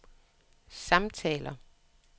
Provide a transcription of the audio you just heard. samtaler